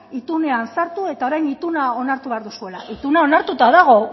itunean sartu eta orain ituna onartu behar duzuela ituna onartuta dago